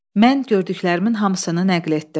Mən gördüklərimin hamısını nəql etdim.